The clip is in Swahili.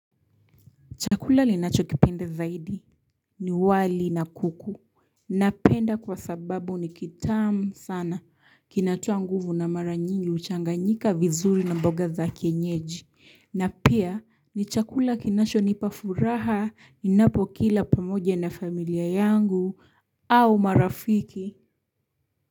Chakula ninacho kipenda zaidi. Ni wali na kuku. Napenda kwa sababu ni kitam sana. Kinatoa nguvu na mara nyingi huchanganyika vizuri na mboga za kienyeji. Na pia ni chakula kinasho nipa furaha ninapo kila pamoja na familia yangu au marafiki.